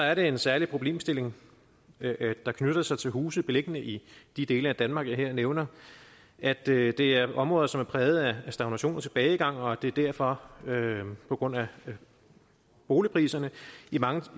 er der en særlig problemstilling der knytter sig til huse beliggende i de dele af danmark jeg her nævner at det er det er områder som er præget af stagnation og tilbagegang og hvor det derfor på grund af at boligpriserne i mange